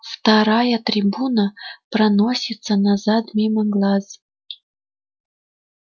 вторая трибуна проносится назад мимо глаз